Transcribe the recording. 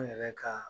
An yɛrɛ ka